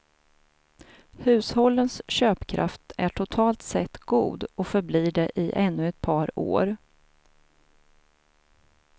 Hushållens köpkraft är totalt sett god och förblir det i ännu ett par år.